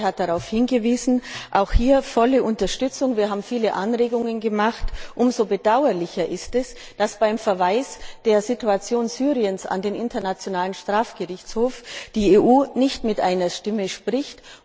Frau Schaake hat darauf hingewiesen auch hier volle Unterstützung. Wir haben viele Anregungen gemacht. Umso bedauerlicher ist es, dass beim Verweis der Situation Syriens an den Internationalen Strafgerichtshof die EU nicht mit einer Stimme spricht.